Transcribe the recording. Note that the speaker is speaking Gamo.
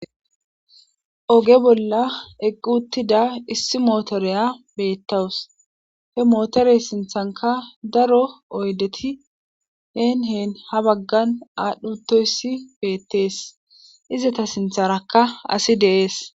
Oge bolla eqquttida issi mootoreya beettawus he mootorey sinthanka daro oydeti heen heen ha baggan aadhdhutoyssi beettees izata sintharakka asi deees.